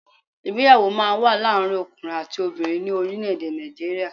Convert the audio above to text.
Ìgbéyàwó máa n wá láàrin ọkùnrin àti obìnrin ní orílẹ̀ èdè Nàìjíríà